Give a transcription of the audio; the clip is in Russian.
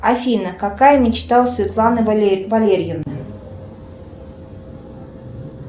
афина какая мечта у светланы валерьевны